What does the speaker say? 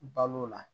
Balo la